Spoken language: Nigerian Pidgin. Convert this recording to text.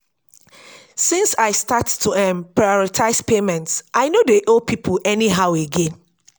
since i start to um prioritize payments i no no dey owe pipo anyhow again.